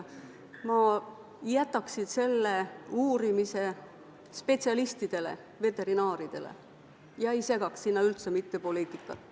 Ma jätaksin selle uurimise spetsialistidele, veterinaaridele ega segaks üldse sellesse poliitikat.